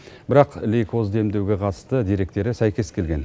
бірақ лейкозды емдеуге қатысты деректері сәйкес келген